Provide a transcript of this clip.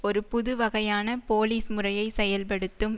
ஒரு புது வகையான போலீஸ் முறையை செயல்படுத்தும்